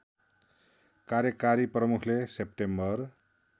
कार्यकारी प्रमुखले सेप्टेम्बर